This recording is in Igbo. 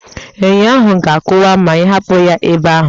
Enyo ahụ ga-akụwa ma ịhapụ ya ebe ahụ